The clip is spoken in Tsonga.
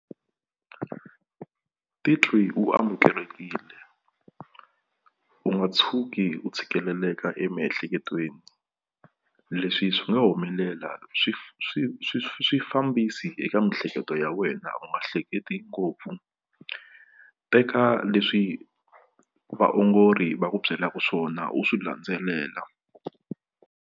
Titwi u amukelekile u nga tshuki u tshikeleleka emiehleketweni leswi swi nga humelela swifambisi eka miehleketo ya wena u nga hleketi ngopfu teka leswi vaongori va ku byelaka swona u swi landzelela.